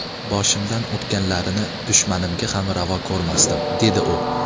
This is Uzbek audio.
Boshimdan o‘tganlarini dushmanimga ham ravo ko‘rmasdim”, dedi u.